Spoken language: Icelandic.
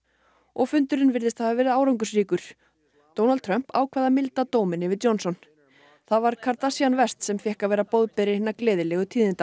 og fundurinn virðist hafa verið árangursríkur Donald Trump ákvað að milda dóminn yfir Johnson það var Kardashian West sem fékk að vera boðberi hinna gleðilegu tíðinda